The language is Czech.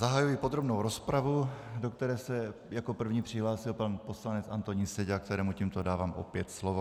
Zahajuji podrobnou rozpravu, do které se jako první přihlásil pan poslanec Antonín Seďa, kterému tímto dávám opět slovo.